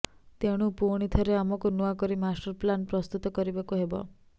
ତେଣୁ ପୁଣିଥରେ ଆମକୁ ନୂଆକରି ମାଷ୍ଟର୍ ପ୍ଲାନ୍ ପ୍ରସ୍ତୁତ କରିବାକୁ ହେବ